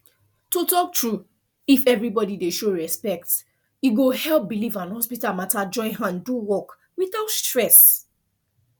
to talk true if everybody dey show respect e go help belief and hospital matter join hand do work without stress